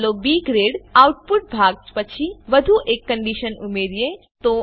ચાલો B grade output ભાગ પછી વધુ એક કંડીશન ઉમેરીએ